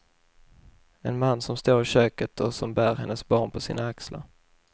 En man som står i köket och som bär hennes barn på sina axlar.